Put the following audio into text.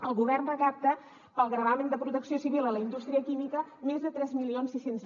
el govern recapta pel gravamen de protecció civil a la indústria química més de tres mil sis cents